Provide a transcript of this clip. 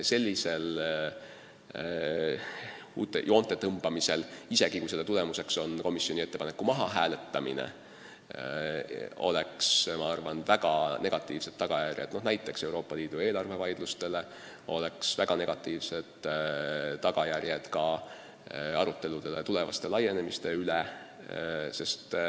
Sellisel joonte tõmbamisel, isegi kui selle tulemuseks on komisjoni ettepaneku mahahääletamine, oleks minu arvates väga negatiivsed tagajärjed näiteks Euroopa Liidu eelarvevaidlustele ja ka aruteludele tulevase laienemise üle.